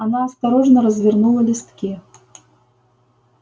она осторожно развернула листки